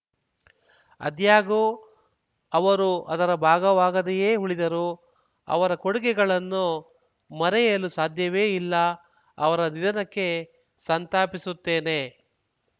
ಆದ್ಯಾಗೋ ಅವರು ಅದರ ಭಾಗವಾಗದೆಯೇ ಉಳಿದರು ಅವರ ಕೊಡುಗೆಗಳನ್ನು ಮರೆಯಲು ಸಾಧ್ಯವೇ ಇಲ್ಲ ಅವರ ನಿಧನಕ್ಕೆ ಸಂತಾಪಿಸುತ್ತೇನೆ